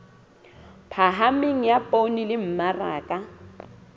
phahameng ya poone le mmaraka